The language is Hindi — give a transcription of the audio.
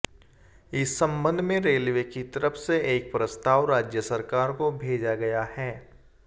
इस संबंध में रेलवे की तरफ से एक प्रस्ताव राज्य सरकार को भेजा गया है